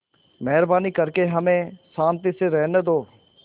मेहरबानी करके हमें शान्ति से रहने दो